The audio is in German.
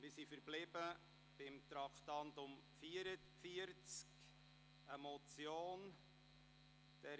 Wir sind beim Traktandum 44 verblieben, der Motion «